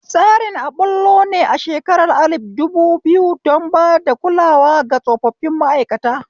Tsarin a ɓullo ne a shekara alif dubu biyu don bada kulawa ga tsofaffin ma'aikata